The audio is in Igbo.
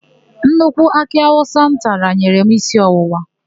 Nnukwu akị awụsa m tara nyere m isi ọwụwa.